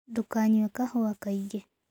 Ndũkanyũe kahũa kaĩngĩ